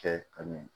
Kɛ ka ɲɛ